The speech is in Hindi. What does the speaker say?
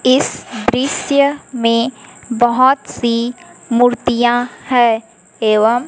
इस दृश्य में बहुत सी मूर्तियां हैं एवं--